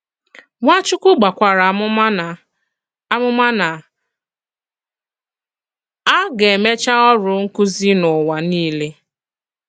Nwàchùkwù gbàkwàrà àmùmà na àmùmà na a ga-emechà òrụ nkụ̀zì n'ụwa niile.